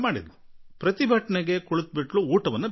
ಸತ್ಯಾಗ್ರಹ ಕುಳಿತ ಆಕೆ ಊಟ ಮಾಡುವುದನ್ನೂ ನಿಲ್ಲಿಸಿದ್ದಳು ಎನ್ನಲಾಗಿದೆ